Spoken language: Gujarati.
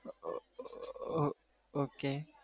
Okay